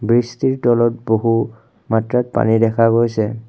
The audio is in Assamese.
ব্ৰীজটিৰ তলত বহু মাত্ৰাত পানী দেখা গৈছে।